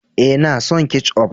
E, na son ketchup.